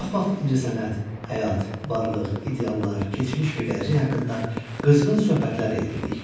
Çox vaxt incəsənət, həyat, varlıq, ideallar, keçmiş və gələcək haqqında qızğın söhbətlər edirdik.